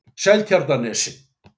Seltjarnarnesi